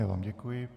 Já vám děkuji.